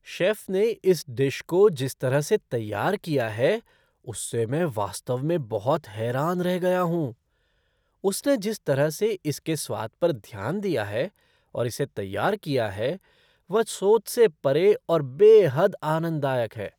Chef ने इस dish को जिस तरह से तैयार किया है उससे मैं वास्तव में बहुत हैरान रह गया हूँ, उसने जिस तरह से इसके स्वाद पर ध्यान दिया है और इसे तैयार किया है वह सोच से परे और बेहद आनंददायक है।